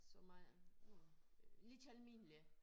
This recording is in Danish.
Som er øh lidt almindelig